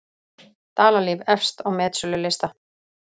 Dalalíf efst á metsölulistann